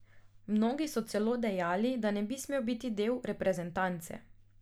Mnogi so celo dejali, da ne bi smel biti del reprezentance.